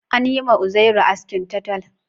An yi ma Uzairu askin taltal